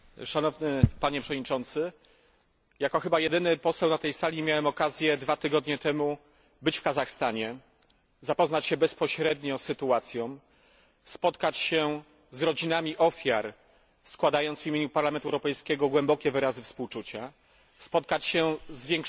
Jako chyba jedyny poseł na tej sali miałem okazję dwa tygodnie temu być w Kazachstanie, zapoznać się bezpośrednio z sytuacją, spotkać się z rodzinami ofiar, składając w imieniu Parlamentu Europejskiego głębokie wyrazy współczucia, spotkać się z większością prokuratorów prowadzących śledztwo,